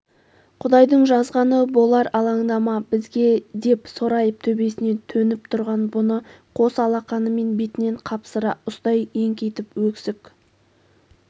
құдайдың жазғаны болар алаңдама бізге деп сорайып төбесінен төніп тұрған бұны қос алақанымен бетінен қапсыра ұстай еңкейтіп өксік